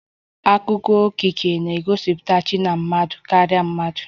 Akụkọ okike na-egosipụtakarị chi na mmadụ karịrị mmadụ